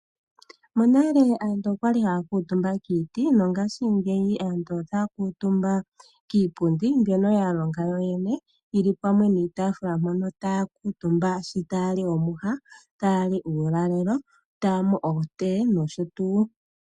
Nale aantu okwali haya kuutumba kiiti, ngashingeyi ohaya aantu otaya kuutumbu kiipundi mbyoka ya longa yo yene, osho wo iitaafula mpoka haya kuutumba ngele taya li omwiha nenge uulalelo taya nu okofiwa nosho tuu.